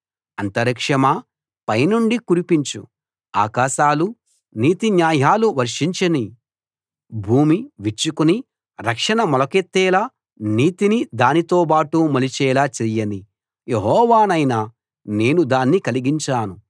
అంతరిక్షమా పైనుండి కురిపించు ఆకాశాలు నీతిన్యాయలు వర్షించనీ భూమి విచ్చుకుని రక్షణ మొలకెత్తేలా నీతిని దానితో బాటు మొలిచేలా చెయ్యనీ యెహోవానైన నేను దాన్ని కలిగించాను